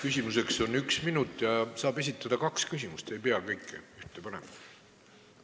Küsimuseks on aega üks minut ja saab esitada kaks küsimust, ei pea kõike ühte küsimusse panema.